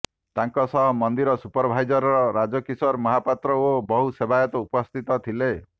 ତାଙ୍କ ସହ ମନ୍ଦିର ସୁପରଭାଇଜର୍ ରାଜକିଶୋର ମହାପାତ୍ର ଓ ବହୁ ସେବାୟତ ଉପସ୍ଥିତ ଥିଲେ